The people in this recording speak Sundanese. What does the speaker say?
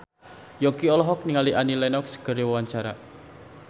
Yongki olohok ningali Annie Lenox keur diwawancara